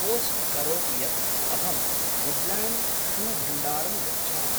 Post करोतु यत् अहं वुड्ल्याण्ड् शूभण्डारं गच्छामि।